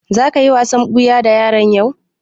Za ka yi wasan ɓuya da yaran yau?